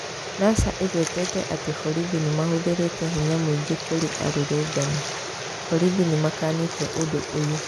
NASA ĩgwetete atĩ borithi nĩ mahũthĩrĩte hinya mũingĩ kũrĩ arũrũngani. Borithi nĩmakanĩte ũndũ ũyũ.